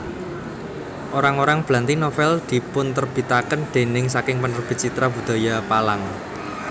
Orang orang Blanti novel dipunterbitaken déning saking Penerbit Citra Budaya Palang